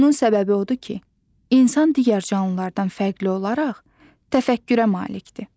Bunun səbəbi odur ki, insan digər canlılardan fərqli olaraq təfəkkürə malikdir.